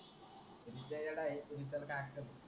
तूच तर येडा आहे.